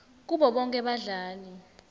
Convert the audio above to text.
kubo bonkhe badlali